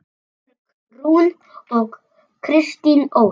Björg Rún og Katrín Ósk.